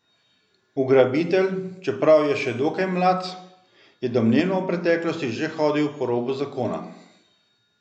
Ugrabitelj, čeprav je še dokaj mlad, je domnevno v preteklosti že hodil po robu zakona.